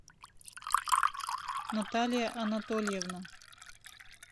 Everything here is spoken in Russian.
наталия анатольевна